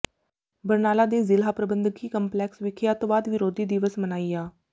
ਬਰਨਾਲਾ ਦੇ ਜ਼ਿਲ੍ਹਾ ਪ੍ਰਬੰਧਕੀ ਕੰਪਲੈਕਸ ਵਿਖੇ ਅੱਤਵਾਦ ਵਿਰੋਧੀ ਦਿਵਸ ਮਨਾਇਆ